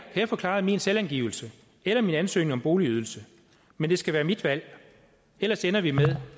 til at få klaret min selvangivelse eller min ansøgning om boligydelse men det skal være mit valg ellers ender vi med